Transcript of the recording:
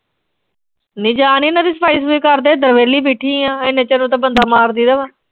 ਇਨ੍ਹਾਂ ਦੀ ਸਫ਼ਾਈ-ਸਫੂਈ ਕਰਦੇ, ਇਧਰ ਵਿਹਲੀ ਬੈਠੀ ਆਂ, ਐਨੇ ਚਿਰ ਤਾਂ ਬੰਦਾ ਮਾਰ ਦੇਈ ਦਾ ਮੈਂ।